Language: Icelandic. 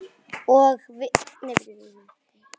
Ég vil ekki bara vara þjálfari í sex mánuði.